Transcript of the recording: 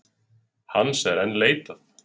Hans er enn leitað